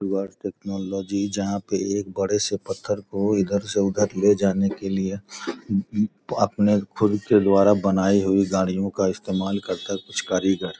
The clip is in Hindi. टुवर्ड्स टेक्नोलॉजी जहाँ पे एक बड़े से पत्थर को इधर से उधर ले जाने के लिए अपने खुद के द्वारा बनाई हुई गाड़ीयों का इस्तेमाल करता कुछ कारीगर।